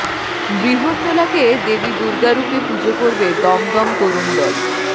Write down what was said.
বৃহন্নলাকে দেবী দুর্গা রূপে পুজো করবে দমদম তরুণ দল